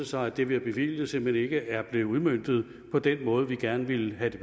sig at det vi har bevilget simpelt hen ikke er blevet udmøntet på den måde vi gerne vil have det